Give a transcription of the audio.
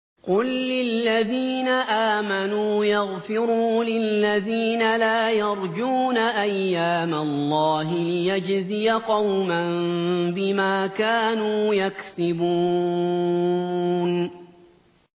قُل لِّلَّذِينَ آمَنُوا يَغْفِرُوا لِلَّذِينَ لَا يَرْجُونَ أَيَّامَ اللَّهِ لِيَجْزِيَ قَوْمًا بِمَا كَانُوا يَكْسِبُونَ